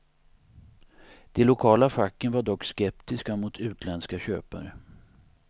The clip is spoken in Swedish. De lokala facken var dock skeptiska mot utländska köpare.